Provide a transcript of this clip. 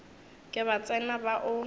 ke ba tsena ba o